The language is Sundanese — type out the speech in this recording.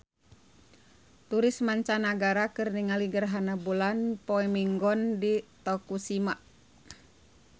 Turis mancanagara keur ningali gerhana bulan poe Minggon di Tokushima